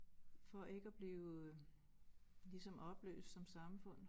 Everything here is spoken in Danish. For ikke at blive ligesom opløst som samfund